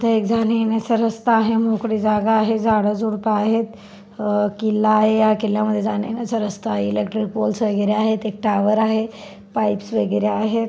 इथे एक जाण्या येण्याचा रस्ता आहे मोकळी जागा आहे झाड झुडप आहेत अ किल्ला आहे या किल्ल्या मध्ये एक जाण्या येण्याचा रस्ता आहे इलेक्ट्रिक पोल्स वगैरे आहेत एक टॉवर आहे पाइप्स वगैरे आहेत.